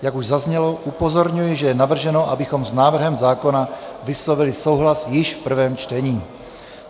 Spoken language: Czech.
Jak už zaznělo, upozorňuji, že je navrženo, abychom s návrhem zákona vyslovili souhlas již v prvém čtení.